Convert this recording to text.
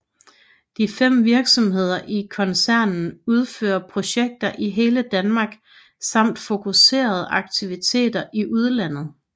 De fem virksomheder i koncernen udfører projekter i hele Danmark samt fokuserede aktiviteter i udlandet